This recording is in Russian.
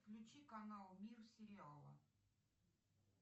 включи канал мир сериала